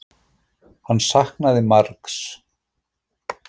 Hann saknaði margs.